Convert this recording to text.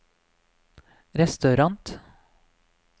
restaurant